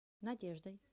надеждой